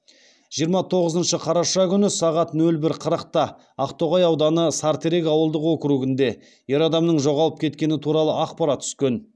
жиырма тоғызыншы қараша күні сағат нөл бір қырықта ақтоғай ауданы сарытерек ауылдық округінде ер адамның жоғалып кеткені туралы ақпарат түскен